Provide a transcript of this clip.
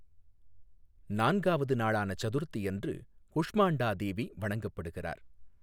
நான்காவது நாளான சதுர்த்தியன்று குஷ்மாண்டா தேவி வணங்கப்படுகிறார்.